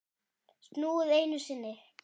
Snúið einu sinni.